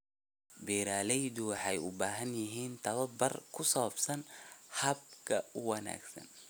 Beeraleydu waxay u baahan yihiin tababar ku saabsan hababka ugu wanaagsan.